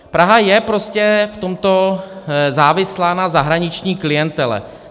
Praha je prostě v tomto závislá na zahraniční klientele.